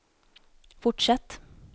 fortsätt